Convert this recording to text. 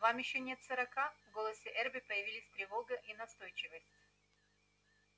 вам ещё нет сорока в голосе эрби появились тревога и настойчивость